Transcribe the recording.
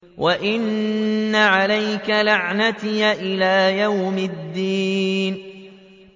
وَإِنَّ عَلَيْكَ لَعْنَتِي إِلَىٰ يَوْمِ الدِّينِ